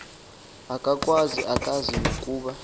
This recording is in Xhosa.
akakwazi akazi nokuba